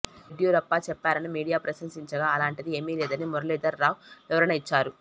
యడ్యూరప్ప చెప్పారని మీడియా ప్రశ్నించగా అలాంటిది ఏమీ లేదని మురళీధర్ రావ్ వివరణ ఇచ్చారు